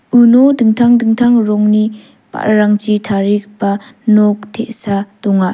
uno dingtang dingtang rongni ba·rarangchi tarigipa nok te·sa donga.